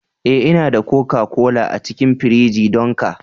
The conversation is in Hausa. Eh, Ina da koka-kola a cikin firiji don ka